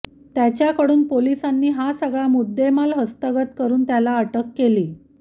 त्याच्याकडून पोलिसांनी हा सगळा मुद्देमाल हस्तगत करून त्याला अटक केली